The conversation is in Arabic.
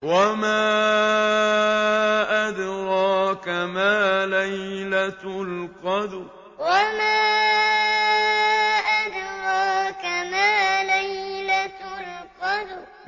وَمَا أَدْرَاكَ مَا لَيْلَةُ الْقَدْرِ وَمَا أَدْرَاكَ مَا لَيْلَةُ الْقَدْرِ